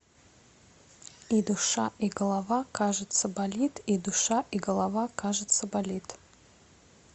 и душа и голова кажется болит и душа и голова кажется болит